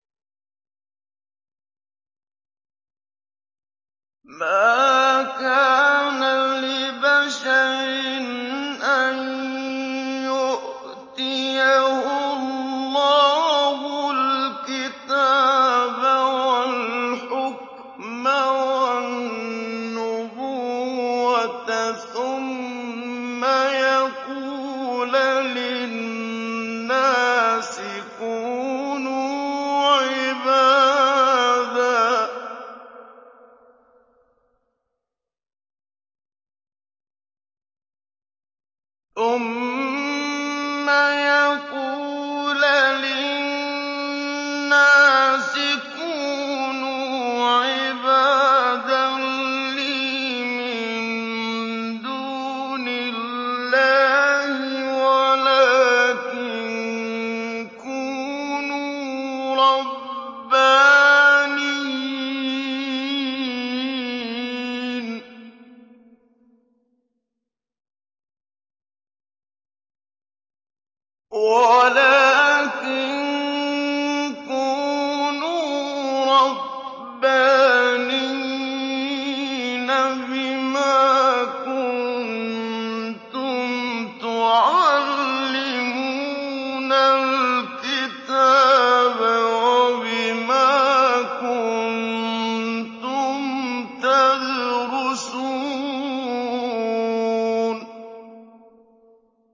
مَا كَانَ لِبَشَرٍ أَن يُؤْتِيَهُ اللَّهُ الْكِتَابَ وَالْحُكْمَ وَالنُّبُوَّةَ ثُمَّ يَقُولَ لِلنَّاسِ كُونُوا عِبَادًا لِّي مِن دُونِ اللَّهِ وَلَٰكِن كُونُوا رَبَّانِيِّينَ بِمَا كُنتُمْ تُعَلِّمُونَ الْكِتَابَ وَبِمَا كُنتُمْ تَدْرُسُونَ